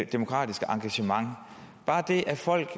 demokratiske engagement bare det at folk